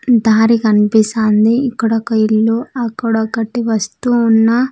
దారి కనిపిస్తాంది ఇక్కడ ఒక ఇల్లు అక్కడ ఒకటి వస్తూ ఉన్నా--